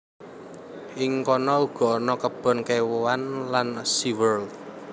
Ing kono uga ana kebon kéwan lan sea world